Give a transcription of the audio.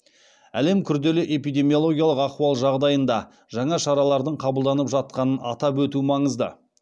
әлемде күрделі эпидемиологиялық ахуал жағдайында жаңа шаралардың қабылданып жатқанын атап өту маңызды